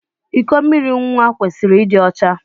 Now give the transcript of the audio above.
Iko mmiri nwa kwesịrị ịdị ọcha.